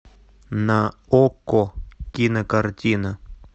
на окко кинокартина